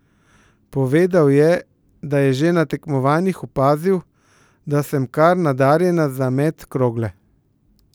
Povedal je, da je že na tekmovanjih opazil, da sem kar nadarjena za met krogle.